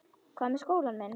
Hvað með skólann minn?